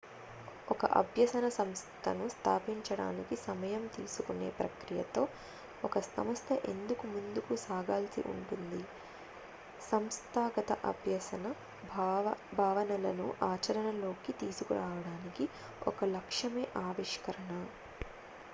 ఒక అభ్యసన సంస్థను స్థాపించడానికి సమయం తీసుకునే ప్రక్రియతో ఒక సంస్థ ఎందుకు ముందుకు సాగాల్సి ఉంటుంది సంస్థాగత అభ్యసన భావనలను ఆచరణలోకి తీసుకురావడానికి ఒక లక్ష్యమే ఆవిష్కరణ